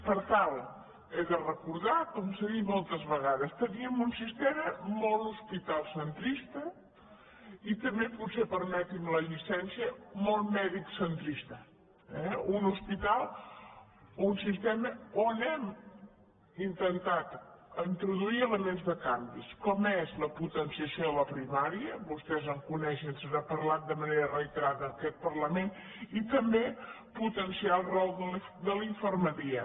per tant ho he de recordar com s’ha dit moltes vegades teníem un sistema molt hospitalariocentrista i també potser permetin·me la llicència molt medicocentrista eh un sistema on hem intentat introduir elements de canvi com és la potenciació de la primària vostès ho coneixen se n’ha parlat de manera reiterada en aquest parlament i també potenciar el rol de la infermeria